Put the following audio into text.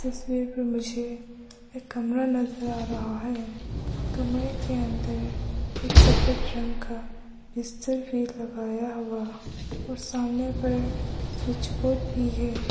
तस्वीर पर मुझे एक कमरा नजर आ रहा है कमरे के अंदर एक सफेद रंग का बिस्तर भी लगाया हुआ और सामने पर स्विच बोर्ड भी है।